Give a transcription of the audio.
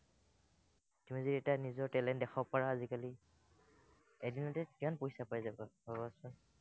তুমি যদি এটা নিজৰ talent দেখাব পাৰা আজিকালি, এদিনতে কিমান পইচা পাই যাবা ভাৱাচোন।